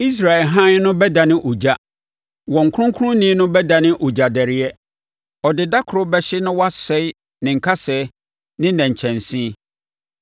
Israel Hann no bɛdane ogya. Wɔn Kronkronni no bɛdane ogya dɛreɛ; ɔde dakoro bɛhye na wasɛe ne nkasɛɛ ne nnɛnkyɛnse.